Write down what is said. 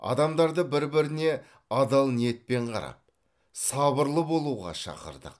адамдарды бір біріне адал ниетпен қарап сабырлы болуға шақырдық